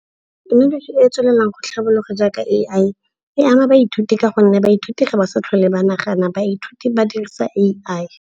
Thekenoloji e e tswelelang go tlhabololwa jaaka A_I e ama baithuti ka gonne baithuti ga ba sa tlhole ba nagana. Baithuti ba dirisa A_I.